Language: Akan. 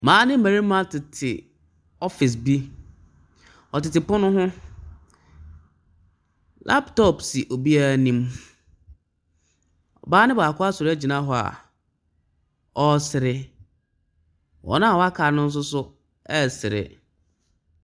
Mmaa ne mmarima tete office bi. Wɔtete pono ho. Laptop si obiara anim. Ɔbaa no baako asɔre agyina hɔ a ɔresere. Wɔn a wɔaka no nso so resere.